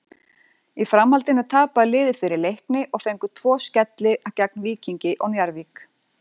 Í framhaldinu tapaði liðið fyrir Leikni og fengu tvo skelli gegn Víkingi og Njarðvík.